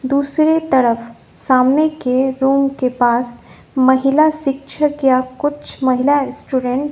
दूसरी तरफ सामने के रूम के पास महिला शिक्षक या कुछ महिला स्टूडेंट --